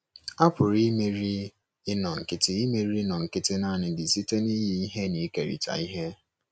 A pụrụ imeri inọ nkịtị imeri inọ nkịtị naanị gị site n’inye ihe na ikerịta ihe